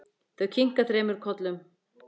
Þau kinka þremur kollum.